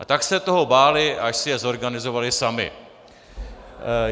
A tak se toho báli, až si je zorganizovali sami.